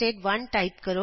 nested1 type ਕਰੋ